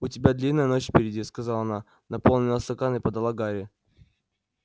у тебя длинная ночь впереди сказала она наполнила стакан и подала гарри